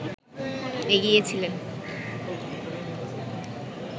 এগিয়ে ছিলেন